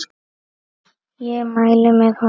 Ég mæli með honum.